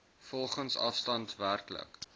volgens afstand werklik